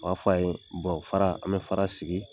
A b'a fɔ an ye fara an bɛ fara sigi